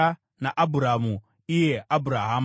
naAbhurama (iye Abhurahama).